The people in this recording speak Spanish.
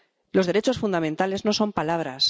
Los derechos fundamentales no son palabras.